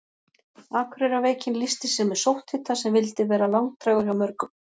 Akureyrarveikin lýsti sér með sótthita sem vildi vera langdrægur hjá mörgum.